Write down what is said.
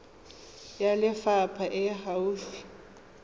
ya lefapha e e gaufi